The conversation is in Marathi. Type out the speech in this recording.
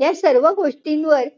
या सर्व गोष्टींवर,